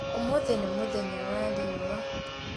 ũmũthĩ nĩ mũthenya wa riũa